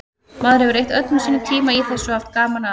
Maður hefur eytt öllum sínum tíma í þessu og haft gaman að.